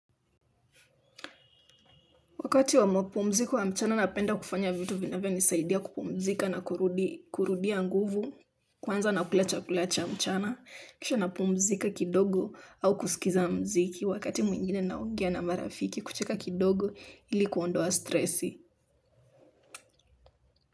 Wakati wa mapumziko wa mchana napenda kufanya vitu vinavyo nisaidia kupumzika na kurudia nguvu, kwanza na kula chakula cha mchana, kisha napumzika kidogo au kusikiza mziki wakati mwingine naongea na marafiki kucheka kidogo ili kuondoa stresi.